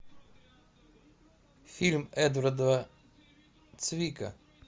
фильм эдварда цвика